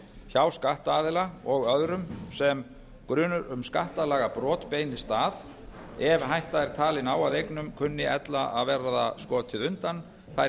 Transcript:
hjá skattaðila og öðrum sem grunur um skattalagabrot beinist að ef hætta er talin á að eignum kunni ella að verða skotið undan þær